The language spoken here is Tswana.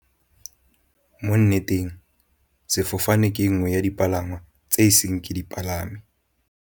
Mo nneteng sefofane ke nngwe ya dipalangwa tse e seng ke di palame.